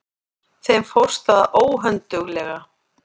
Þeim fórst það óhönduglega.